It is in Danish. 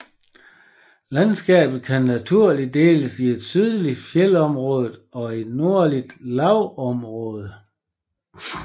Landskabet kan naturligt deles i et sydligt fjeldområde og et nordligt lavlandsområde